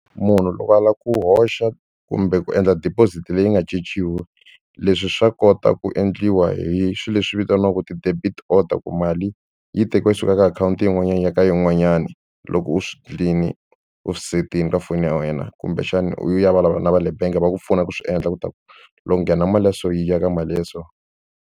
Munhu loko a lava ku hoxa kumbe ku endla deposit leyi nga cinciwi leswi swa kota ku endliwa hi swilo leswi vitaniwaka ti-debit order ku mali yi tekiwa yi suka ka akhawunti yin'wanyana i ya ka yin'wanyani loko u swi u swi set-ini ka foni ya wena kumbexana u ye u ya vulavula na va le benge va ku pfuna ku swi endla ku ta ku loko ku nghena mali ya so yi ya ka mali ya so.